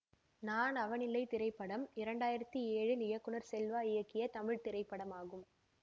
நான் அவனில்லை திரைப்படம் இரண்டு ஆயிரத்தி ஏழில் இயக்குநர் செல்வா இயக்கிய தமிழ் திரைப்படமாகும்